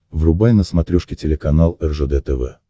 врубай на смотрешке телеканал ржд тв